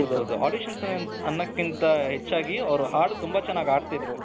ಹೌದು ಹೌದು audition ಅಂತ ಅನ್ನಕಿಂಥ ಹೆಚ್ಚಾಗಿ ಅವರು ಹಾಡು ತುಂಬಾ ಚೆನ್ನಾಗಿ ಹಾಡ್ತಾ ಇದ್ರು